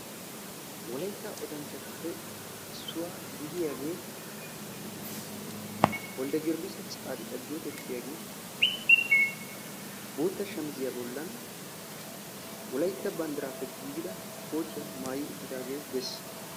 wolaytta odanchatuppe issuwa gidiyagee wolde tsaadiqa temesgena gidiyaagee bootta shammisiya bolan wolaytta bandiraappe giigida kootiya maayi uttidaagee dees.